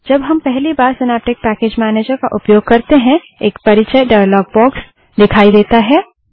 जब हम पहली बार सिनैप्टिक पैकेज मैनेजर का उपयोग करते हैं एक परियच डायलॉग बाक्स दिखाई देता है